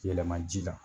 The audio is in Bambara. Yɛlɛma ji la